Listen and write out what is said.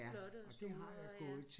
Flotte og store ja